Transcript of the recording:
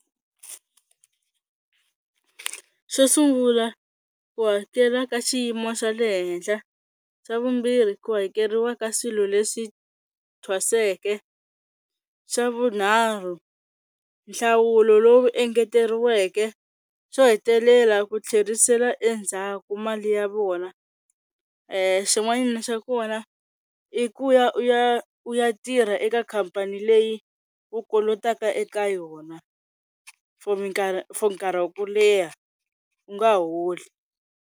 Xo sungula ku hakela ka xiyimo xa le henhla, xa vumbirhi ku hakeriwa ka swilo leswi thwaseke, xa vunharhu nhlawulo lowu engeteriweke, xo hetelela ku tlherisela endzhaku mali ya vona xin'wanyana xa kona i ku ya u ya u ya tirha eka khampani leyi u kolotaka eka yona for for nkarhi wa ku leha u nga holi.